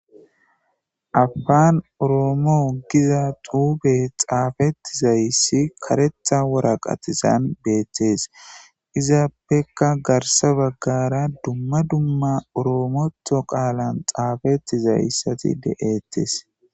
Apaan oroomoo giza xuube xaafetti zayssi karetha woraqatisan beettees izaappekka garsa baggara dumma dumma oroomotho qaalan xaafeti zayssati de'ttes.